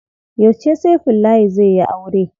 Yauce Saifullahi zai yi aure?